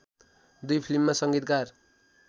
दुई फिल्ममा संगीतकार